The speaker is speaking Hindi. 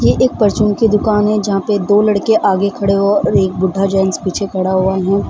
ये एक फॉर्च्यून की दुकान हैं जहां पे दो लड़के आगे खड़े और एक बुड्ढा जेन्स पीछे खड़े हुए हैं।